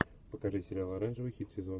покажи сериал оранжевый хит сезона